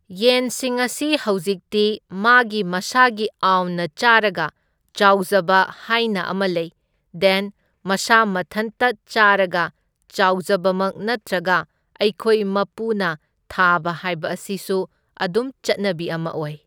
ꯌꯦꯟꯁꯤꯡ ꯑꯁꯤ ꯍꯧꯖꯤꯛꯇꯤ ꯃꯥꯒꯤ ꯃꯁꯥꯒꯤ ꯑꯥꯎꯟꯅ ꯆꯥꯔꯒ ꯆꯥꯎꯖꯕ ꯍꯥꯏꯅ ꯑꯃ ꯂꯩ, ꯗꯦꯟ ꯃꯁꯥ ꯃꯊꯟꯇ ꯆꯥꯔꯒ ꯆꯥꯎꯖꯕꯃꯛ ꯅꯠꯇ꯭ꯔꯒ ꯑꯩꯈꯣꯏ ꯃꯄꯨꯅ ꯊꯥꯕ ꯍꯥꯏꯕ ꯑꯁꯤꯁꯨ ꯑꯗꯨꯝ ꯆꯠꯅꯕꯤ ꯑꯃ ꯑꯣꯏ꯫